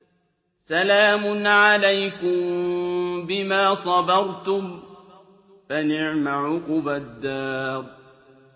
سَلَامٌ عَلَيْكُم بِمَا صَبَرْتُمْ ۚ فَنِعْمَ عُقْبَى الدَّارِ